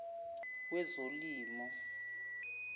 wezolimo